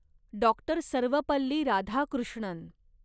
doctor Sarvepalli Radhakrishnan